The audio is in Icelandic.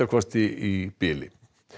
í bili